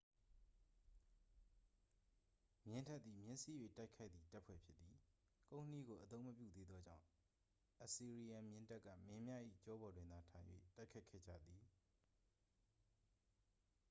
မြင်းတပ်သည် မြင်းစီး၍ တိုက်ခိုက်သည့် တပ်ဖွဲ့ဖြစ်သည် ကုန်းနှီးကို အသုံးမပြုသေးသောကြောင့် အစီရီယန်မြင်းတပ်က မင်းများ၏ ကျောပေါ်တွင်သာ ထိုင်၍ တိုက်ခိုက်ခဲ့ကြသည်